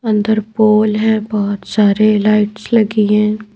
अंदर पोल है बहुत सारे लाइट्स लगी हैं।